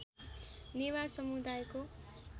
नेवार समुदायको